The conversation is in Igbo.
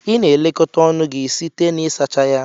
Ị na-elekọta ọnụ gị site na ịsacha ya.